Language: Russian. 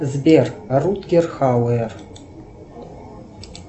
сбер рутгер хауэр